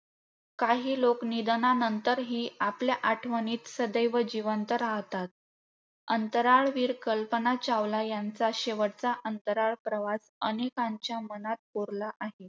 काही लोक निधनांनतरही आपल्या आठवणीत सदैव जिवंत राहतात. अंतराळवीर कल्पना चावला यांचा शेवटचा अंतराळ प्रवास अनेकांच्या मनात कोरला आहे.